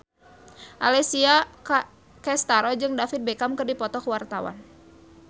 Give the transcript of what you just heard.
Alessia Cestaro jeung David Beckham keur dipoto ku wartawan